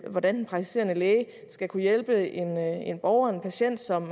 hvordan den praktiserende læge skal kunne hjælpe en borger en patient som